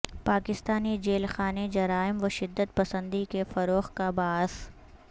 Pakistani jail خانے جرائم و شدت پسندی کے فروغ کا باعث